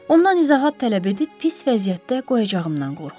Ondan izahat tələb edib pis vəziyyətdə qoyacağımdan qorxub.